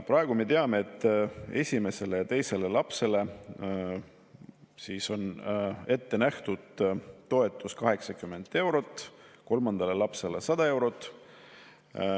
Praegu me teame, et esimesele ja teisele lapsele on ette nähtud toetus 80 eurot, kolmandale lapsele 100 eurot.